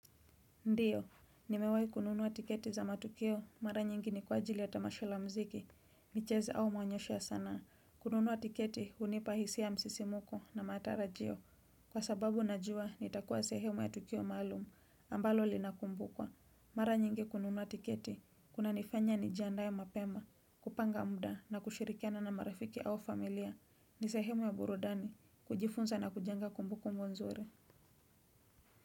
Ndiyo, nimewai kununua tiketi za matukio, mara nyingi ni kwa ajili ya tamasha la mziki, michezo au maonyesho ya sanaa. Kununua tiketi, unipa hisia ya msisimuko na matarajio. Kwa sababu najua, nitakuwa sehemu ya tukio maalumu, ambalo linakumbukwa. Mara nyingi kununua tiketi, kunanifanya nijiandae mapema, kupanga mda na kushirikiana na marafiki au familia. Ni sehemu ya burudani, kujifunza na kujenga kumbukumbu nzuri.